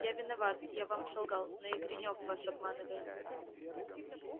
я виноват я вам солгал но и гринёв вас обманывает